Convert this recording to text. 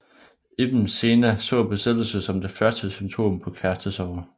Ibn Sena så besættelse som det første symptom på kærestesorger